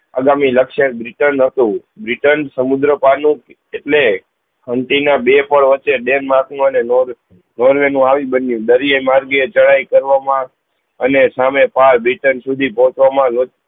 અગામી લક્ષ્યે નથુ સમુદ્ર પાનું એટલે હ્મથી ના બે પર્વ છે બે માપ નો અને નોર્વે નો આવી બન્યું દરિયે માર્ગે ચડાઈ કરવા મા અને સામે પાર સુધી પહુચવા મા